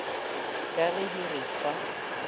ka ge di re fa